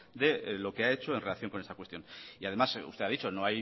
de lo que ha hecho en relación con esta cuestión y además usted ha dicho que